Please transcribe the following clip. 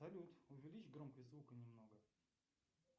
салют увеличь громкость звука немного